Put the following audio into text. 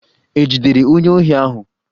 E jidere onye ohi ahụ?